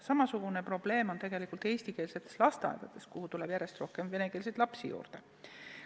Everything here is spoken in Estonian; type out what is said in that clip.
Samasugune probleem on tegelikult eestikeelsetes lasteaedades, kuhu tuleb järjest rohkem venekeelseid lapsi juurde.